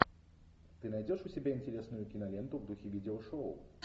ты найдешь у себя интересную киноленту в духе видеошоу